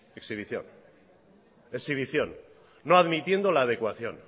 exhibición exhibición no admitiendo la adecuación